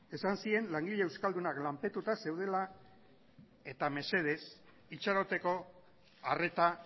esan zien langile euskadunak lanpetuta zeudela eta mesedez itxaroteko arreta